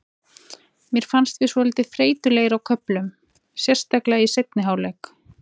Mér fannst við svolítið þreytulegir á köflum, sérstaklega í seinni hálfleik.